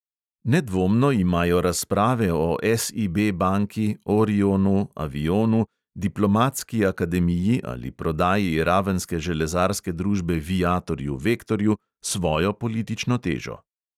Nedvomno imajo razprave o SIB banki, orionu, avionu, diplomatski akademiji ali prodaji ravenske železarske družbe viatorju-vektorju svojo politično težo.